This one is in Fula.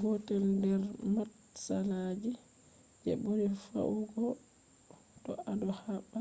gotel nder matsalagi je buri feugo to ado habda